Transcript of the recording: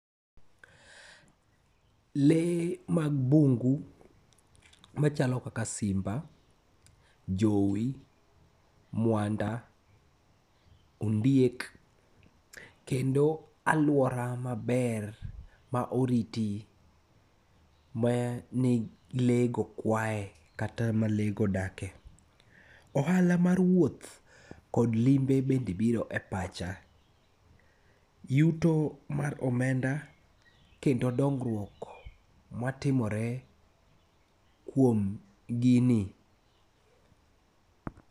Le mag bungu machalo kaka simba, jowi, mwanda, ondiek, kendo alwora maber ma oriti ma ni, le go kwae kata, ma le go odake. Ohala mar wuoth kod limbe bende biro e pacha. Yuto mar omenda kendo dongruok matimore kuom gini.